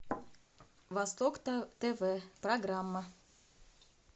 восток тв программа